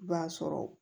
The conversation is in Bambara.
I b'a sɔrɔ